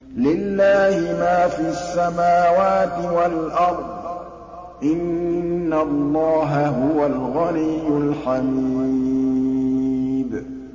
لِلَّهِ مَا فِي السَّمَاوَاتِ وَالْأَرْضِ ۚ إِنَّ اللَّهَ هُوَ الْغَنِيُّ الْحَمِيدُ